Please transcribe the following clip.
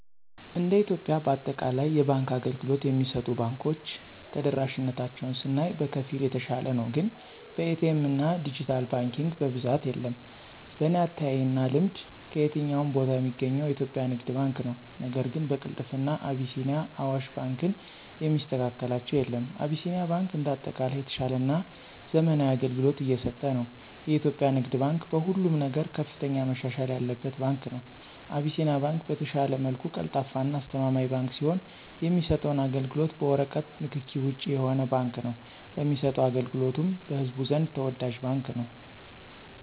እንደ ኢትዮጵያ በአጠቃላይ የባንክ አገልግሎት የሚሰጡ ባንኮች ተደራሽነታቸውን ስናይ በከፊል የተሻለ ነው ግን በኤ.ቲ. ኤምና ድጅታል ባንኪንግ በብዛት የለም። በኔ አተያይና ልምድ ከየትኛውም ቦታ ሚገኘው የኢትዮጵያ ንግድ ባንክ ነው ነገር ግን በቅልጥፍና አቢሲኒያና አዋሽ ባንክን የሚስተካከላቸው የለም። አቢሲኒያ ባንክ እንደ አጠቃላይ የተሻለና ዘመናዊ አገልግሎት እየሰጠ ነው። የኢትዮጵያ ንግድ ባንክ በሁሉም ነገር ከፍተኛ መሻሻል ያለበት ባንክ ነው። አቢሲኒያ ባንክ በተሻለ መልኩ ቀልጣፋና አስተማማኝ ባንክ ሲሆን የሚሰጠውም አገልግሎት በወረቀት ንክኪ ውጭ የሆነ ባንክ ነው ለሚሰጠው አገልግሎቱም በህዝቡ ዘንድ ተወዳጅ ባንክ ነው።